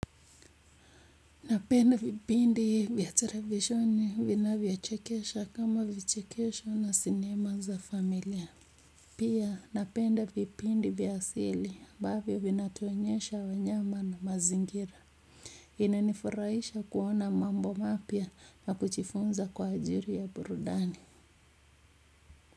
Napenda vipindi vya televisheni vina vyo chekesha kama vichekesho na sinema za familia pia napenda vipindi vya asili ambavyo vinatuonyesha wanyama na mazingira inanifurahisha kuona mambo mapya na kujifunza kwa ajili ya burudani.